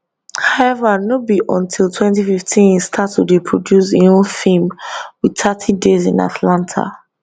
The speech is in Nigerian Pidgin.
howeva no be until 2015 e start to dey produce im own feem with thirty days in atlanta